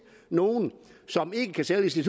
at nogle som ikke kan sælge